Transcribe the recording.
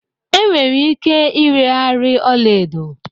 Enwere ike ireghari ọla edo